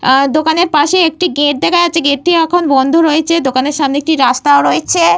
আঃ দোকানের পাশে একটি গেট দেখা যাচ্ছে। গেট -টি এখন বন্ধ রয়েছে। দোকানের সামনে একটি রাস্তা ও রয়েছে।